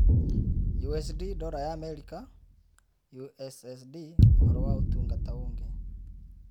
USD Dola ya Amerika ya Amerika USSD Ũhoro wa Ũtungata Ũngĩ